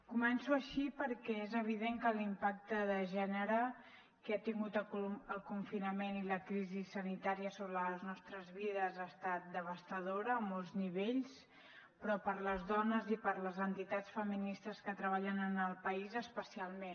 començo així perquè és evident que l’impacte de gènere que han tingut el confinament i la crisi sanitària sobre les nostres vides ha estat devastador a molts nivells però per a les dones i per a les entitats feministes que treballen en el país especialment